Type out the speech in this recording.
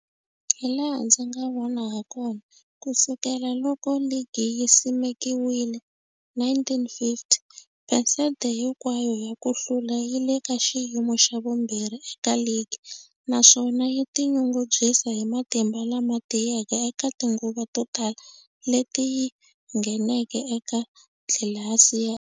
Hilaha ndzi nga vona hakona, ku sukela loko ligi yi simekiwile, 1950, phesente hinkwayo ya ku hlula yi le ka xiyimo xa vumbirhi eka ligi, naswona yi tinyungubyisa hi matimba lama tiyeke eka tinguva to tala leti yi ngheneke eka tlilasi ya.